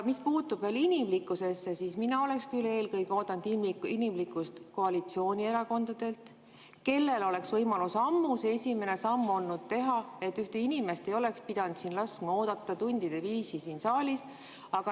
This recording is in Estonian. Mis puutub veel inimlikkusesse, siis mina oleks küll eelkõige oodanud inimlikkust koalitsioonierakondadelt, kellel oli ammu võimalus see esimene samm teha, et üks inimene ei peaks ootama tundide viisi siin saalis.